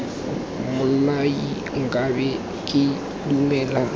mmolai nka be ke dumela